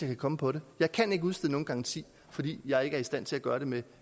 kan komme på det jeg kan ikke udstede nogen garanti fordi jeg ikke er i stand til at gøre det med